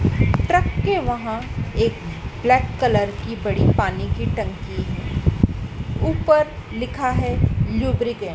Truck के वहां एक ब्लैक कलर की बड़ी पानी की टंकी है ऊपर लिखा है लुब्रिकेंट ।